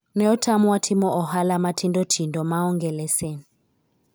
ne otamwa timo ohala matindo tindo maonge leses